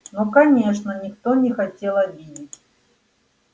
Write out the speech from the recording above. ну конечно никто не хотел обидеть